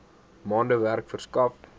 maande werk verskaf